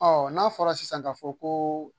Ɔ n'a fɔra sisan k'a fɔ sisan ko